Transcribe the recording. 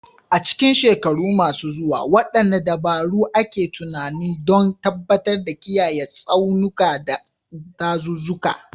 A cikin shekaru masu zuwa, wadanne dabaru ake tunani don tabbatar da kiyaye tsaunuka, da dazuzzuka